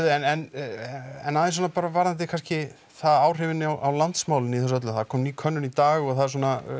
en aðeins svona bara varðandi kannski áhrifin á landsmálin í þessu öllu það kom ný könnun í dag og það er svona